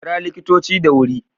Kira likitoci da wuri